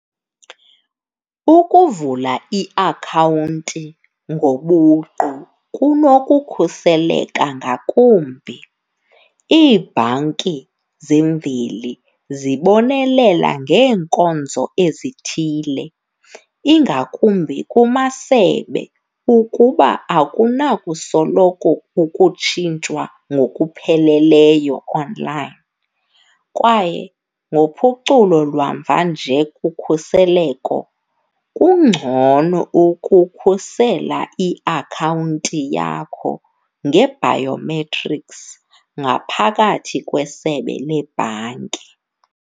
Ukuvula iakhawunti ngobuqu kunokukhuseleka ngakumbi. Iibhanki zemveli zibonelela ngeenkonzo ezithile ingakumbi kumasebe ukuba akunakusoloko ukutshintshwa ngokupheleleyo online, kwaye ngophuculo lwamva nje kukhuseleko kungcono ukukhusela iakhawunti yakho nge-biometrics ngaphakathi kwesebe lebhanki.